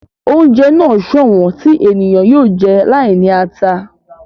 Oúnjẹ náà sọ̀wọ́n tí ènìyàn yóò jẹ́ láì ní ara